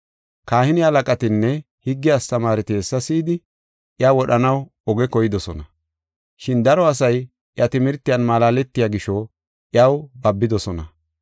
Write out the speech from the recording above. Kahine halaqatinne higge astamaareti hessa si7idi, iya wodhanaw oge koydosona. Shin daro asay iya timirtiyan malaaletiya gisho, iyaw babidosona.